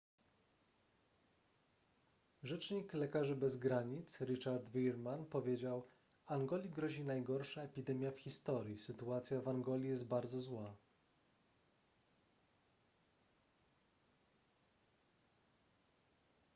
rzecznik lekarzy bez granic richard veerman powiedział angoli grozi najgorsza epidemia w historii sytuacja w angoli jest bardzo zła